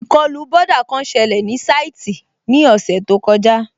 Ìkọlù bọ́dà kan sẹlẹ̀ ní sáìtì ní ọ̀sẹ̀ tó kọjá